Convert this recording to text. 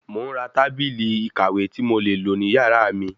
Mò ń ra tábìlì ìkàwé tí mo le lò ní yàrá mi